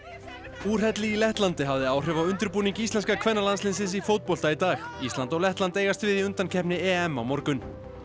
úrhelli í Lettlandi hafði áhrif á undirbúning íslenska kvennalandsliðsins í fótbolta í dag ísland og Lettland eigast við í undankeppni EM á morgun